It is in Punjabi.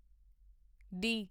ਡੀ